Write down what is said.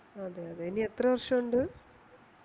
അതെ അതെ എനി എത്ര വർഷോണ്ട്